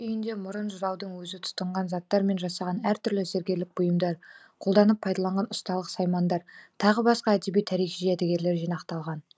үйінде мұрын жыраудың өзі тұтынған заттар мен жасаған әр түрлі зергерлік бұйымдар қолданып пайдаланған ұсталық саймандар тағы басқа әдеби тарихи жәдігерлер жинақталған